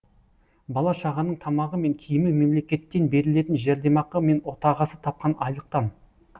бала шағаның тамағы мен киімі мемлекеттен берілетін жәрдемақы мен отағасы тапқан айлықтан